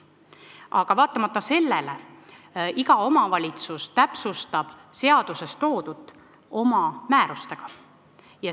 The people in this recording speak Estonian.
Aga vaatamata sellele täpsustab iga omavalitsus seaduses toodut oma määrustega.